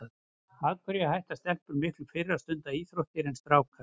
Af hverju hætta stelpur miklu fyrr að stunda íþróttir en strákar?